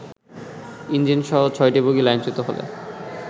ইঞ্জিনসহ ছয়টি বগি লাইনচ্যুত হলে